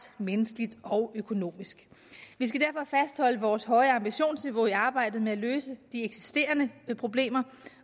menneskeligt og økonomisk vi skal derfor fastholde vores høje ambitionsniveau i arbejdet med at løse de eksisterende problemer